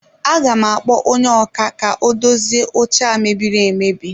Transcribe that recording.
Aga m akpọ onye ọkà ka o dozie oche a mebiri emebi